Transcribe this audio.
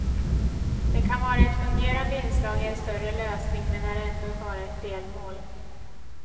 Det kan vara ett fungerande inslag i en större lösning, men är ändå bara ett delmål.